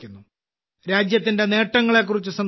രാജ്യത്തിന്റെ നേട്ടങ്ങളെക്കുറിച്ച് സംസാരിക്കുന്നത്